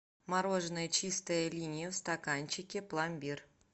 мороженое чистая линия в стаканчике пломбир